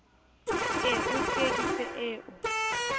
e o tsieditse e o